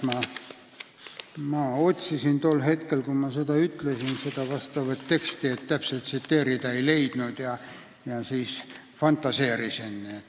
Ma otsisin tol hetkel, kui ma seda ütlesin, vastavat teksti, et täpselt tsiteerida, aga ei leidnud ja n-ö fantaseerisin.